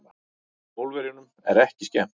Pólverjunum er ekki skemmt.